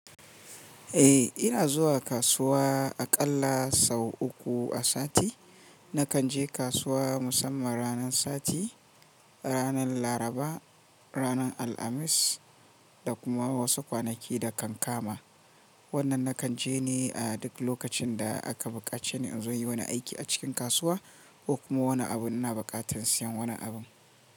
Eh ina zuwa kasuwa aƙalla sau uku a sati. Nakan je kasuwa musamman ranar sati, ranar Laraba, ranar Alhamis da kuma wasu kwanaki da kan kama. Wannan nakan je ne a duk lokacin da aka bukace ni in zo inyi wani aiki a cikin kasuwa ko kuma wani abu in ina buƙatar siyan wani abu.